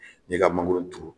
Ne ka mangoro turu